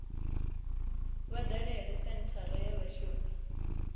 vha dalele senthara ya vhashumi